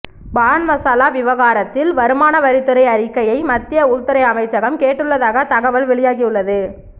பான்மசாலா விவகாரத்தில் வருமான வரித்துறை அறிக்கையை மத்திய உள்துறை அமைச்சகம் கேட்டுள்ளதாக தகவல் வெளியாகியுள்ளது